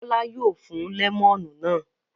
Bọ́lá yóò fún lẹ́mọ́nù náà.